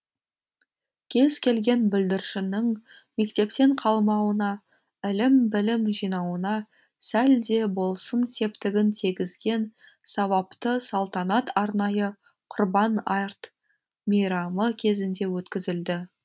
кез келген бүлдіршіннің мектептен қалмауына ілім білім жинауына сәл де болсын септігін тигізген сауапты салтанат арнайы құрбан мейрамы кезінде өткізілді